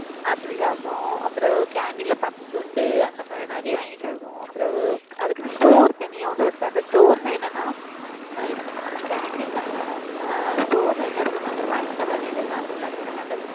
அப்படி சாப்பிடுவோம். அப்புறவு canteen ல பப்ஸ் உண்டு அந்த மாதிரி நிறைய வாங்கி சாப்பிடுவோம். அப்புறவு அதுக்குன்னு store தனியா ஒண்ணு இருக்கு. அந்த store ன்னா என்னன்னா அஹ் இது canteen வேற அஹ் store ல என்ன இருக்கும்ன்னா அந்த பண்ட வகைகள்லாம் இருக்கும்ல இந்தமாறி